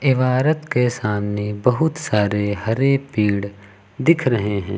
इमारत के सामने बहुत सारे हरे पेड़ दिख रहे हैं।